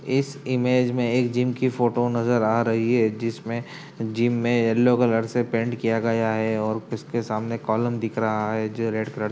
इस इमेज में एक जिम की फोटो नजर आ रही है जिसमें जिम में येलो कलर से पेंट किया गया है और किसके सामने कॉलम दिख रहा है जो रेड कलर --